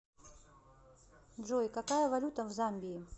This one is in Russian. джой какая валюта в замбии